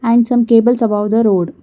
and some cables above the road.